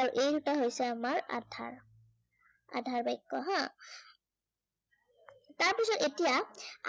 আৰু এই দুটা হৈছে আমাৰ আধাৰ। আধাৰ বাক্য় হা। তাৰ পাছত এতিয়া,